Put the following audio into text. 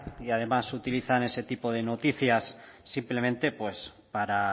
y además utilizan ese tipo de noticias simplemente pues para